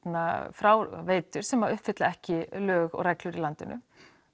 fráveitur sem uppfylla ekki lög og reglur í landinu